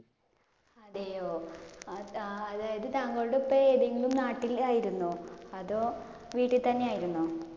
അതെയോ. അത് അതായത് താങ്കളുടെ ഉപ്പ ഏതെങ്കിലും നാട്ടിലായിരുന്നോ? അതോ വീട്ടിൽ തന്നെയായിരുന്നോ?